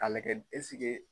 k'a lajɛ eseke?